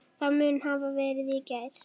Það mun hafa verið í gær.